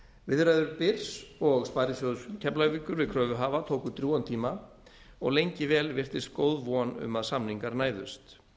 viðræður byrs og sparisjóðs keflavíkur við kröfuhafa tóku drjúgan tíma og lengi vel virtist góð von um að samningar næðust